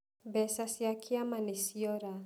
Mbeca cia kĩama nĩciora.